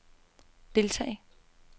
deltage